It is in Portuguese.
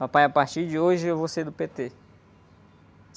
Papai, a partir de hoje eu vou ser do pê-tê.